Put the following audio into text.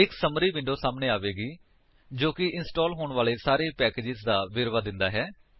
ਇੱਕ summary window ਸਾਹਮਣੇ ਆਵੇਗੀ ਜੋ ਕਿ ਇੰਸਟਾਲ ਹੋਣ ਵਾਲੇ ਸਾਰੇ ਪੈਕੇਜਸ ਦਾ ਵੇਰਵਾ ਦਿੰਦਾ ਹੈ